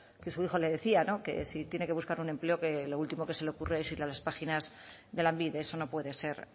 que su hijo le decía que si tiene que buscar un empleo que lo último que se le ocurra es ir a las páginas de lanbide eso no puede ser